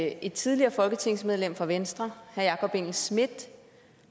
at et tidligere folketingsmedlem fra venstre jakob engel schmidt